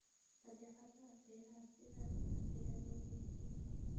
Badeecadaha beeraha si aad ah ayaa loo iibiyaa.